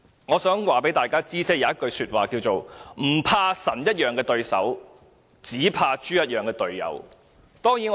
我想告訴大家，有一句話說"不怕神一樣的對手，只怕豬一樣的隊友"。